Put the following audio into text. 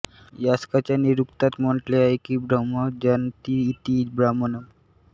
यास्काच्या निरुक्तात म्हटले आहे की ब्रह्मम् जानति इति ब्राह्मणम्